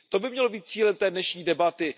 To by mělo být cílem dnešní debaty.